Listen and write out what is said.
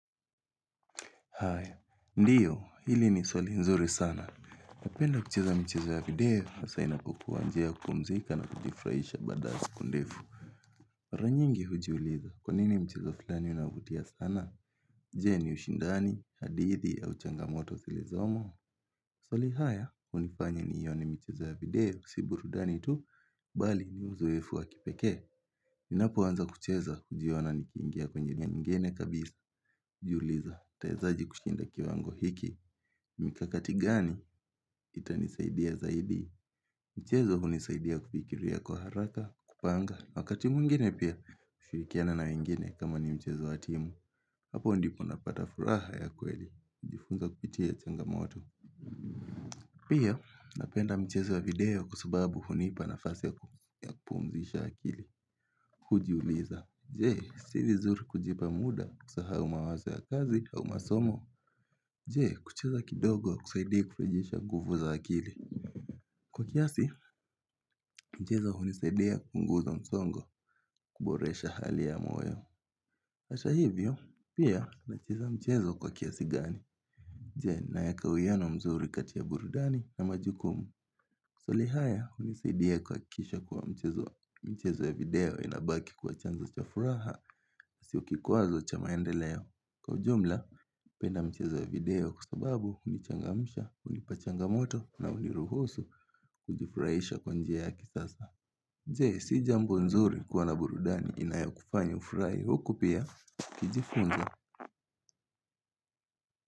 Hai, ndiyo, hili ni swali nzuri sana, napenda kucheza mchezo ya video, hasa inakokuwa njia kupumzika na kujifraisha badazi kundefu Maranyingi hujiuliza, kwa nini mchizo filani unavutia sana? Nje ni ushindani, hadithi, au changamoto zilizomo swali haya, unifanya ni hiyo ni mcheza ya video, si burudani tu, bali ni uzoefu wa kipeke. Ninapo anza kucheza, hujiona ni kiingia kwenye nyingine kabisa, juuliza, tawezaji kushinda kiwa ango hiki. Mikakatigani, itanisaidia zaidi. Mchezo hunisaidia kufikilia kwa haraka, kupanga, wakati mwingine pia, kushirikiana na wengine kama ni mchezo wa timu. Hapo ndipo napata furaha ya kweli, kujifunza kupitia changamoto. Pia napenda mchezo ya video kwasababu hunipa nafasi ya kupumzisha akili Kujuliza, jee, sili nzuri kujipa muda kusahau mawazo ya kazi au masomo Jee, kuchiza kidogo kusaidia kufijisha gufu za akili Kwa kiasi, mchezo hunisaidia kupunguza msongo kuboresha hali ya moyo Asha hivyo, pia na chiza mchezo kwa kiasi gani Jee, naekawiyano mzuri katia burudani na majukumu Swalihaya unisaidia kwa kisha kuwa mchezo ya video inabaki kuwa chanzo cha furaha Sio kikwazo cha maendeleo, Kwa jumla, penda mchezo ya video kusababu hunichangamisha, hunipachangamoto na kuniruhusu kujufurahisha kwa njia yaki sasa nje, si jambo nzuri kuwa na burudani inayo kufanya ufurahi huku pia, kijifunza.